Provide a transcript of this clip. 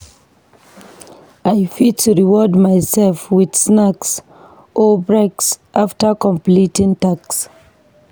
I fit reward myself with snacks or breaks after completing tasks.